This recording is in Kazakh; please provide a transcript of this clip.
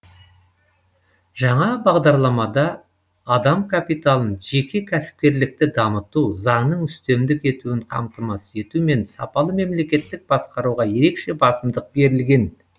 жаңа бағдарламада адам капиталын жеке кәсіпкерлікті дамыту заңның үстемдік етуін қамтамасыз ету мен сапалы мемлекеттік басқаруға ерекше басымдық берілген